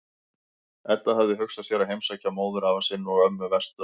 Edda hafði hugsað sér að heimsækja móðurafa sinn og-ömmu vestur á